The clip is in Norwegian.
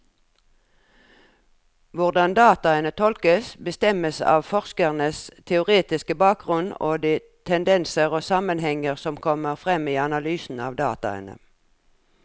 Hvordan dataene tolkes, bestemmes av forskerens teoretiske bakgrunnen og de tendenser og sammenhenger som kommer frem i analysen av dataene.